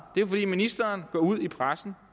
er at ministeren går ud i pressen